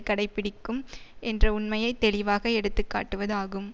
கடைபிடிக்கும் என்ற உண்மையை தெளிவாக எடுத்துக்காட்டுவதாகும்